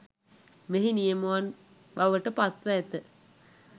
මෙහි නියමුවන් බවට පත්ව ඇත